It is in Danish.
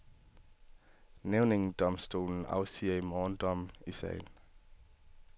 Nævningedomstolen afsiger i morgen dom i sagen.